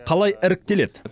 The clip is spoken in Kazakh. қалай іріктеледі